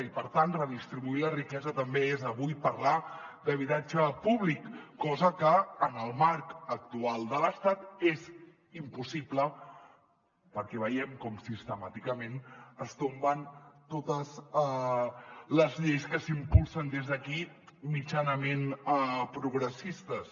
i per tant redistribuir la riquesa també és avui parlar d’habitatge públic cosa que en el marc actual de l’estat és impossible perquè veiem com siste·màticament es tomben totes les lleis que s’impulsen des d’aquí mitjanament progres·sistes